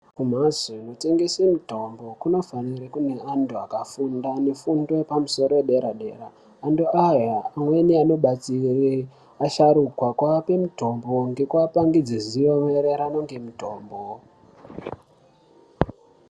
Kumhatao kunotengeswe mitombo kunofanire kune anthu akafunda mifundo yepamusoro yedera dera anthu aya amweni anobatsira asharukwa kuape mitombo ngekuapangidze ziwo maererano ngemutombo.